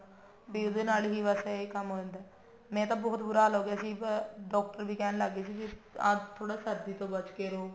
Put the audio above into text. ਉਹਦੇ ਨਾਲ ਹੀ ਬਸ ਇਹ ਕੰਮ ਹੋ ਜਾਂਦਾ ਮੇਰਾ ਤਾਂ ਬਹੁਤ ਬੁਰਾ ਹਾਲ ਹੋਗਿਆ ਸੀ doctor ਵੀ ਕਹਿਣ ਲੱਗ ਗਏ ਸੀ ਵੀ ਆਪ ਥੋੜਾ ਸਰਦੀ ਤੋਂ ਬਚ ਕੇ ਰਹੋ